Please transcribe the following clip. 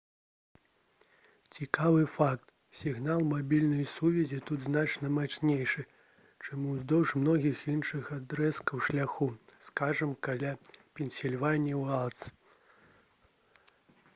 цікавы факт: сігнал мабільнай сувязі тут значна мацнейшы чым уздоўж многіх іншых адрэзкаў шляху скажам каля «пенсільванія уайлдз»